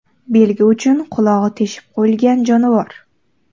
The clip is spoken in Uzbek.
Belgi uchun qulog‘i teshib qo‘yilgan jonivor.